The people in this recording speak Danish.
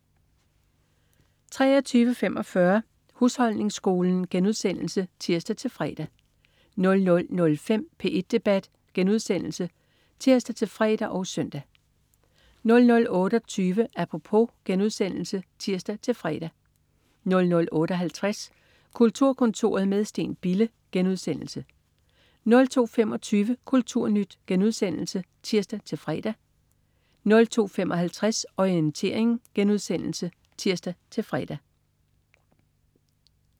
23.45 Husholdningsskolen* (tirs-fre) 00.05 P1 Debat* (tirs-fre og søn) 00.28 Apropos* (tirs-fre) 00.58 Kulturkontoret med Steen Bille* 02.25 Kulturnyt* (tirs-fre) 02.55 Orientering* (tirs-fre)